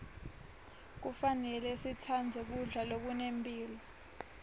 kufanele sitsandze kudla lokunemphilo